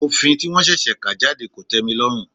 Òfin tí wọ́n ṣẹ̀ṣẹ̀ kà jáde kò tẹ́milọ́rùn.